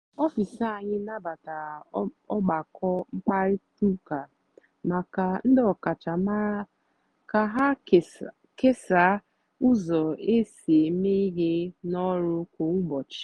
ọfịs anyị nabatara ọgbakọ mkparịta ụka maka ndị ọkachamara ka ha kesaa ụzọ e si eme ihe n’ọrụ kwa ụbọchị.